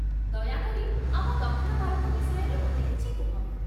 ଦୟାକରି, ଆମ ଦକ୍ଷିଣ ଭାରତ ବିଷୟରେ ମୋତେ କିଛି କୁହ